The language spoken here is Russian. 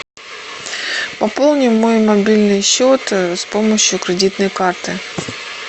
пополни мой мобильный счет с помощью кредитной карты